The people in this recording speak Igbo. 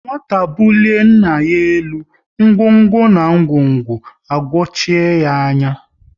Nwata bulie nna ya elu, ngwo ngwo na ngwongwo ayochie ya anya